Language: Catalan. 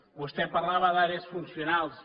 vostè parlava d’àrees funcionals